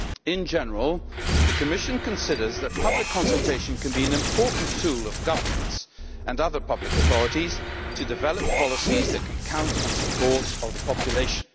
In general, the Commission considers that public consultation can be an important tool of governments and other public authorities to develop policies that can count on support of the population.